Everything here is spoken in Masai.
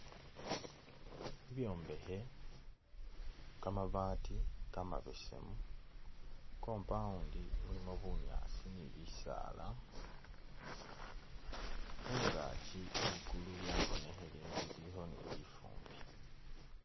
Bibyombekhe kamabaati kamabesemu, compound mulimo bunyaasi ni bisaala, khungakyi likulu lyabonekhele ilikho ni lifumbi